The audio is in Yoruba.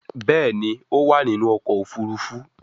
Béèni o má ninu ọkọ̀ òfurufú.